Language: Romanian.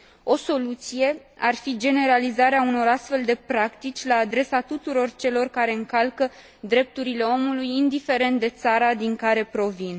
O soluție ar fi generalizarea unor astfel de practici la adresa tuturor celor care încalcă drepturile omului, indiferent de țara din care provin.